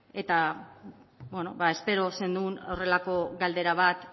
eta espero zenuen horrelako galdera bat